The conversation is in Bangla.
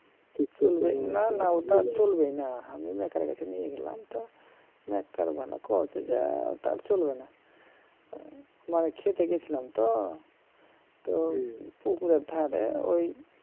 না না ওটা চলবেই না আমি maker এর কাছে নিয়ে গেলাম তো কয়েছে যে তা আর চলবে না মানে ক্ষেতে গিয়েছিলাম তো তো পুকুরের ধারে ঔ